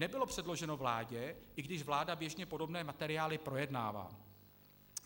Nebylo předloženo vládě, i když vláda běžně podobné materiály projednává.